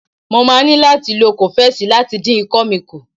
Mo máa ní láti lo kọ́fẹ́sì láti dín ikọ́ mi kù.